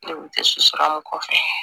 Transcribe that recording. Ne kun tɛ so a kɔfɛ